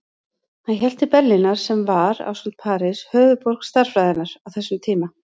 Hann hélt til Berlínar sem var, ásamt París, höfuðborg stærðfræðinnar á þessum tíma.